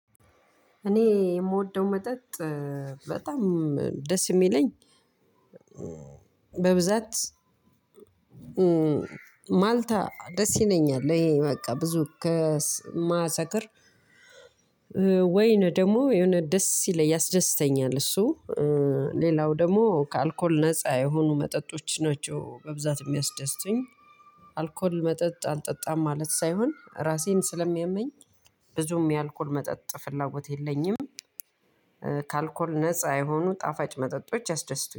እኔ የምወደው መጠጥ በጣም ደስ የሚለኝ በብዛት ማልታ ደስ ይለኛል። ይሄ በቃ ብዙ ከማሰክር። ወይን ደግሞ የሆነ ደስ ይለኛል ያስደስተኛል። እሱ ሌላው ደግሞ ከአልኮል ነፃ የሆኑ መጠጦች ናቸው በብዛት የሚያስደስቱኝ። አልኮል መጠጥ አልጠጣም ማለት ሳይሆን ራሴን ስለሚያመኝ ብዙም የአልኮል መጠጥ ፍላጎት የለኝም። ከ አልኮል ነፃ የሆኑ ጣፋጭ መጠጦች ያስደስቱኛል